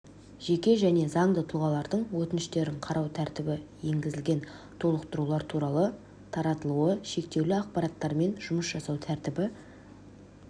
жеке және заңды тұлғалардың өтініштерін қарау тәртібі енгізілген толықтырулар туралы таратылуы шектеулі ақпартаттармен жұмыс жасау тәртібі